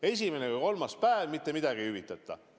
Esimene kuni kolmas päev, mitte midagi ei hüvitata.